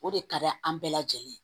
O de ka d'an bɛɛ lajɛlen ye